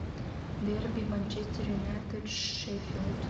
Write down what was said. дерби манчестер юнайтед шеффилд